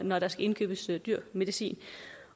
når der skal indkøbes dyr medicin